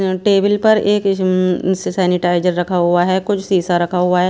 Table पर एक sanitiser रखा हुआ है कुछ शीशा रखा हुआ है।